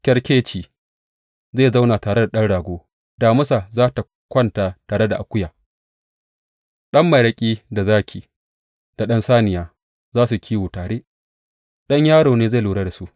Kyarkeci zai zauna tare da ɗan rago damisa za tă kwanta tare da akuya, ɗan maraƙi da zaki da ɗan saniya za su yi kiwo tare; ɗan yaro ne zai lura da su.